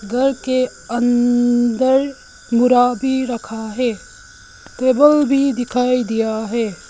घर के अंदर भी रखा है टेबल भी दिखाई दिया है।